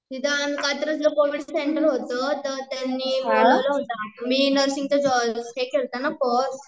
तिथं कात्रज ला covid centre होतं तर त्यांनी बनवला होता, मी नर्सिंग चा हे केल्ता ना कोर्स